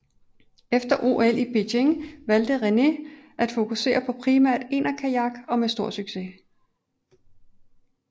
Efter OL i Beijing valgte René at fokusere på primært enerkajak og med stor succes